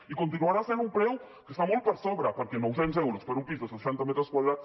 i continuarà sent un preu que està molt per sobre perquè noucents euros per un pis de seixanta metres quadrats